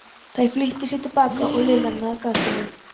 Þær flýttu sér til baka og Lilla náði gatinu.